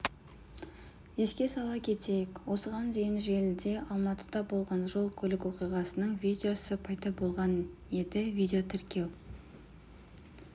еске сала кетейік осыған дейін желіде алматыда болған жол-көлік оқиғасының видеосы пайда болған еді видеотіркеу